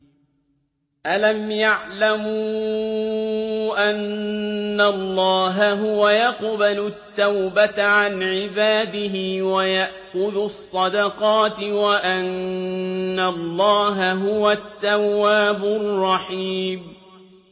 أَلَمْ يَعْلَمُوا أَنَّ اللَّهَ هُوَ يَقْبَلُ التَّوْبَةَ عَنْ عِبَادِهِ وَيَأْخُذُ الصَّدَقَاتِ وَأَنَّ اللَّهَ هُوَ التَّوَّابُ الرَّحِيمُ